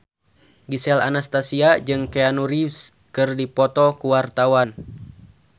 Gisel Anastasia jeung Keanu Reeves keur dipoto ku wartawan